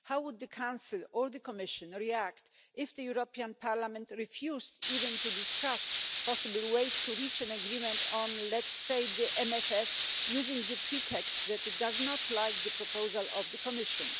How would the Council or the Commission react if the European Parliament refused even to discuss possible ways to reach an agreement on, let's say, the MFF, using the pretext that it does not like the proposal of the Commission?